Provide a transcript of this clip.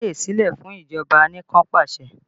Má fàyè sílẹ̀ fún ìjọba anikanpasẹ̀!